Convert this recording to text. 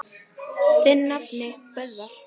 Þinn nafni, Böðvar.